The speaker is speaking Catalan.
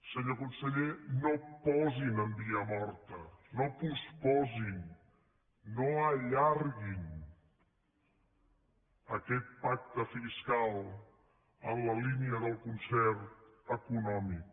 senyor conseller no posin en via morta no posposin no allarguin aquest pacte fiscal en la línia del concert econòmic